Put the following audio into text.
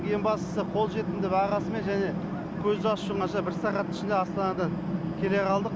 ең бастысы қолжетімді бағасымен және көзді ашып жұмғанша бір сағаттың ішінде астанадан келе қалдық